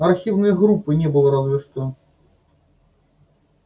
архивной группы не было разве что